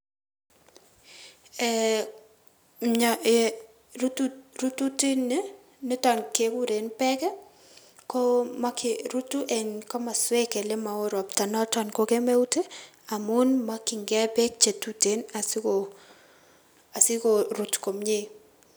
Mio rututini rututini kekuren beek ko mokyi rutu en komosuek ole moo ropta noto ko kemeut ii amun mokyingei beek chetuten siko asiko rut komie.